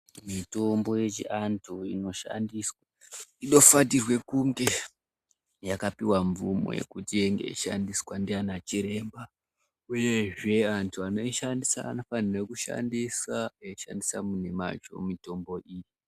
Mitombo yechiantu inofanirwe kunge yakapiwa mvumo yekuti inge yeishandiswa ndiana chiremba uyezve antu anoishandisa anofanire kushandisa eishandisa mumwemacho mitombo iyi.